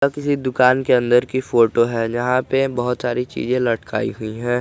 ये किसी दुकान के अंदर की फोटो है जहां पे बहुत सारी चीजें लटकाई हुई है।